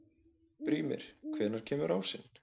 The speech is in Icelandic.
Brímir, hvenær kemur ásinn?